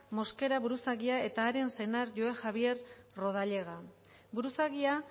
mosquera buruzagia eta haren senar joe javier rodallega buruzagia